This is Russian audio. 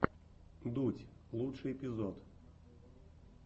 дудь лучший эпизод